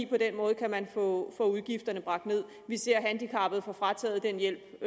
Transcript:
på den måde kan få udgifterne bragt ned vi ser handicappede få frataget den hjælp